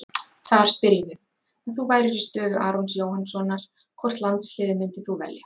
Þar spyrjum við: Ef þú værir í stöðu Arons Jóhannssonar, hvort landsliðið myndir þú velja?